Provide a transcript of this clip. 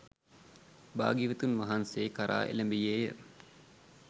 භාග්‍යවතුන් වහන්සේ කරා එළඹියේය.